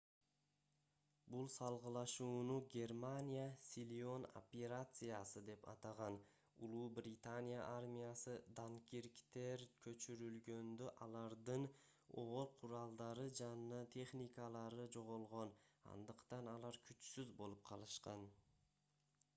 бул салгылашууну германия силион операциясы деп атаган улуу британия армиясы данкирктен көчүрүлгөндө алардын оор куралдары жана техникалары жоголгон андыктан алар күчсүз болуп калышкан